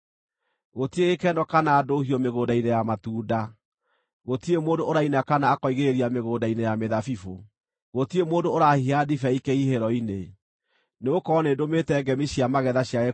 Gũtirĩ gĩkeno kana ndũhiũ mĩgũnda-inĩ ya matunda; gũtirĩ mũndũ ũraina kana akoigĩrĩria mĩgũnda-inĩ ya mĩthabibũ, gũtirĩ mũndũ ũrahiha ndibei kĩhihĩro-inĩ, nĩgũkorwo nĩndũmĩte ngemi cia magetha ciage kũiguuo.